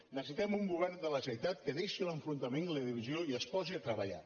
necessitem un govern de la generalitat que deixi l’enfrontament i la divisió i que es posi a treballar